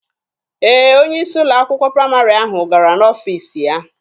Ee, onye isi ụlọ akwụkwọ praịmarị ahụ gara n'ọfiisi ya.